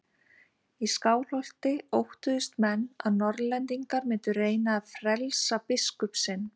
Í Skálholti óttuðust menn að Norðlendingar mundu reyna að frelsa biskup sinn.